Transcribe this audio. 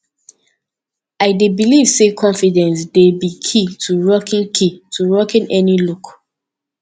i dey believe say confidence dey be key to rocking key to rocking any look